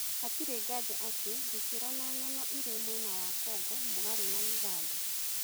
Hatirĩ nganja atĩ , gĩ kĩ ro na ng'ano irĩ mwena wa Kongo mũgarũ na ũganda .